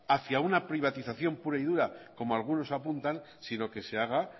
hacia un privatización pura y dura como algunos apuntan sino que se haga